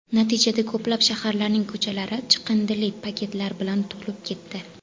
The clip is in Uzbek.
Natijada ko‘plab shaharlarning ko‘chalari chiqindili paketlar bilan to‘lib ketdi.